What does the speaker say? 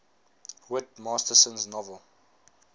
whit masterson's novel